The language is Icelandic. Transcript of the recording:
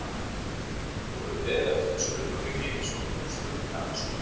Þú hefur beðið eftir þessu augnabliki svo þú getir spurt mig að þessu?